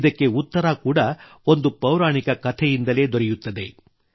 ಇದಕ್ಕೆ ಉತ್ತರ ಕೂಡ ಒಂದು ಪೌರಾಣಿಕ ಕಥೆಯಿಂದಲೇ ದೊರೆಯುತ್ತದೆ